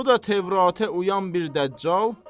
Bu da Tövratə uyan bir dəccal.